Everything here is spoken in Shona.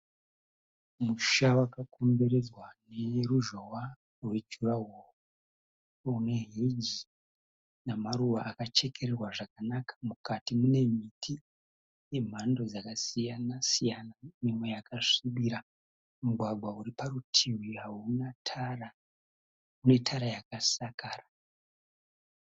Musha wakakomberedzwa neruzhowa rwe jurahoo, une heji namaruva akachekererwa zvakanaka mukati mune miti yemhando dzakasiyana siyana imwe yakasvibira, mugwagwa uri parutivi hauna tara une tara yakasakara.